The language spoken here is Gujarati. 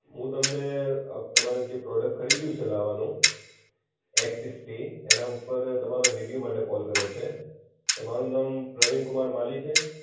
હું તમને અ તમે જે પ્રોડક્ટ ખરીદ્યું છે લાવા નું, એક્સ સિક્સટી એનાં ઉપર તમારા રિવ્યુ માટે કોલ કર્યો છે. તમારું નામ પ્રવીણ કુમાર માલી છે?